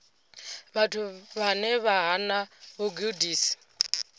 vhathu vhane vha hana vhugudisi